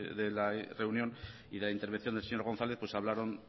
de la reunión y la intervención del señor gonzález hablaron